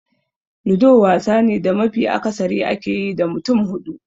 Ludo wasa ne da mafi akasari ake yi da mutum hudu.